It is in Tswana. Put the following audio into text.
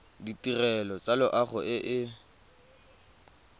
ditirelo tsa loago e e